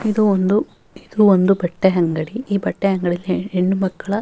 ಇದು ಒಂದು ಇದು ಒಂದು ಬಟ್ಟೆ ಅಂಗಡಿ ಈ ಬಟ್ಟೆ ಅಂಗಡಿ ಹೆಣ್ಣು ಮಕ್ಕಳ --